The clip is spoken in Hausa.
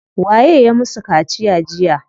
Waye ya musu kaciya jiya?